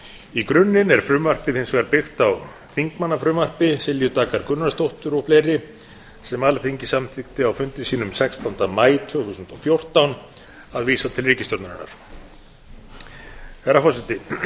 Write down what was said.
í grunninn er frumvarpið hins vegar byggt á þingmannafrumvarpi silju daggar gunnarsdóttur og fleira sem alþingi samþykkti á fundi sínum sextánda maí tvö þúsund og fjórtán að vísa til ríkisstjórnarinnar með